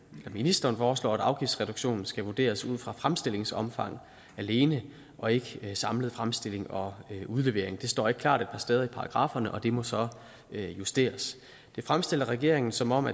ministeren foreslår at afgiftsreduktionen skal vurderes ud fra fremstillingsomfang alene og ikke samlet fremstilling og udlevering det står ikke klart et par steder i paragrafferne og det må så justeres det fremstiller regeringen som om